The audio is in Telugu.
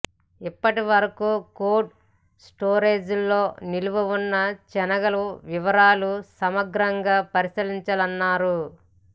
ఇప్పటివరకు కోల్డ్ స్టోరేజ్ల్లో నిల్వ ఉన్న శనగల వివరాలు సమగ్రంగా పరిశీలించాలన్నారు